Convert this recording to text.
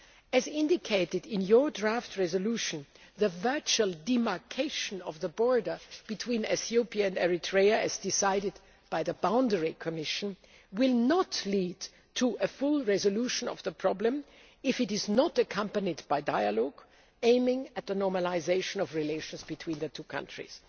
As indicated in your draft resolution, the virtual demarcation of the border between Ethiopia and Eritrea as decided by the Boundary Commission will not lead to a full resolution of the problem if it is not accompanied by dialogue aiming at the normalisation of relations between the two countries.